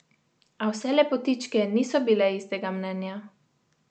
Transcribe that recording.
A vse lepotičke niso bile istega mnenja.